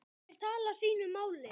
Þær tala sínu máli.